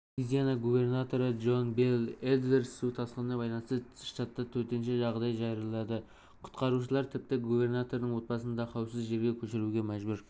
луизиана губернаторы джон бел эдвардс су тасқынына байланысты штатта төтенше жағдай жариялады құтқарушылар тіпті губернатордың отбасын да қауіпсіз жерге көшіруге мәжбүр